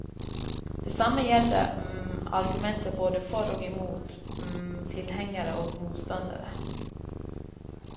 Det samme gjelder argumenter både for og imot tilhengere og motstandere.